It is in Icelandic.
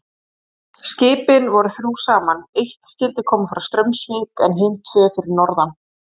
Skipin voru þrjú saman, eitt skyldi koma í Straumsvík en hin tvö fyrir norðan.